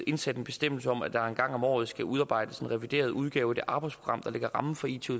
indsat en bestemmelse om at der en gang om året skal udarbejdes en revideret udgave af det arbejdsprogram der lægger rammen for it